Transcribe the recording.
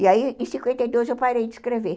E aí, em cinquenta e dois, eu parei de escrever.